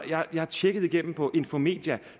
jeg har tjekket igennem på infomedia